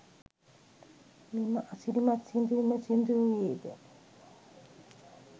මෙම අසිරිමත් සිදුවීම සිදුවූයේ ද